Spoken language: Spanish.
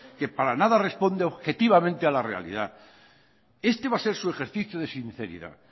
que para nada responde objetivamente a la realidad este va a ser su ejercicio de sinceridad